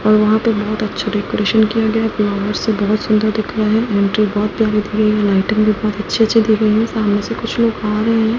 और वहां पे बहुत अच्छा डेकोरेशन किया गया है फ्लावर्स से बहुत सुंदर दिख रहा है एंट्री बहुत प्यारी दी गई हैं लाइटिंग भी बहुत अच्छी सी दी गई है सामने से कुछ लोग आ रहे है।